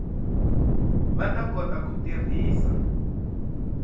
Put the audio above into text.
va ta kota ku tirhisa